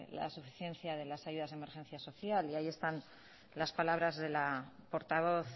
la suficiencia de las ayudas de emergencia social y ahí están las palabras de la portavoz